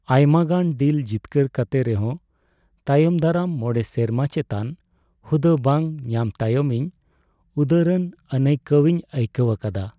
ᱟᱭᱢᱟᱜᱟᱱ ᱰᱤᱞ ᱡᱤᱛᱠᱟᱹᱨ ᱠᱟᱛᱮ ᱨᱮᱦᱚᱸ ᱛᱟᱭᱚᱢ ᱫᱟᱨᱟᱢ ᱢᱚᱬᱮ ᱥᱮᱨᱢᱟ ᱪᱮᱛᱟᱱ ᱦᱩᱫᱟᱹ ᱵᱟᱝ ᱧᱟᱢ ᱛᱟᱭᱚᱢ ᱤᱧ ᱩᱫᱟᱹᱨᱟᱱ ᱟᱹᱱᱟᱹᱭᱠᱟᱹᱣᱤᱧ ᱟᱹᱭᱠᱟᱹᱣ ᱟᱠᱟᱫᱟ ᱾